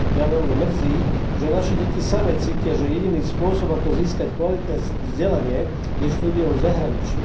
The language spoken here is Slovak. Mňa veľmi mrzí, že naše deti samy cítia, že jediný spôsob, ako získať kvalitné vzdelanie, je štúdium v zahraničí.